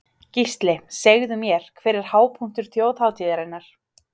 Gísli: Segðu mér, hver er hápunktur þjóðhátíðarinnar?